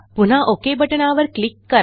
पुन्हा ओक बटणावर क्लिक करा